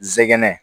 Zɛgɛnɛ